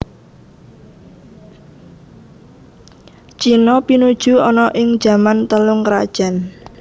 China pinuju ana ing jaman Telung krajan